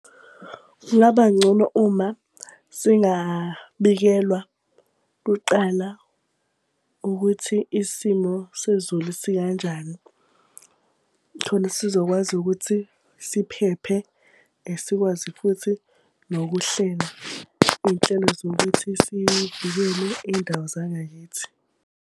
Kungaba ngcono uma singabikelwa kuqala ukuthi isimo sezulu sikanjani. Khona sizokwazi ukuthi siphephe, sikwazi futhi nokuhlela iy'nhlelo zokuthi sigibele iy'ndawo zangakithi.